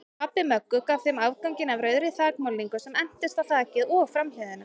Pabbi Möggu gaf þeim afganginn af rauðri þakmálningu sem entist á þakið og framhliðina.